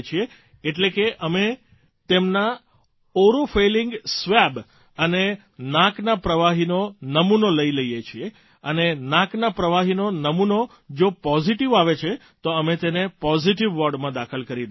એટલે કે અમે તેમના ઓરોફેઇંગીલ સ્વેબ અને નાકના પ્રવાહીનો નમૂનો લઇ લઇએ છીએ અને નાકના પ્રવાહીનો નમૂનો જો પોઝીટીવ આવે છે તો અમે તેમને પોઝીટીવ વોર્ડમાં દાખલ કરી દઇએ છીએ